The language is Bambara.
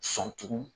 Sɔn tugun